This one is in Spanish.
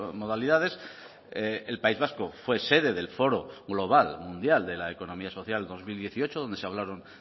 modalidades el país vasco fue sede del foro global mundial de la economía social dos mil dieciocho donde se hablaron